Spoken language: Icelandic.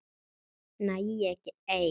Nægði þér ekki ein?